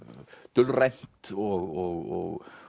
dulrænt og